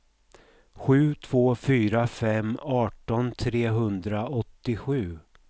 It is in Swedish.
sju två fyra fem arton trehundraåttiosju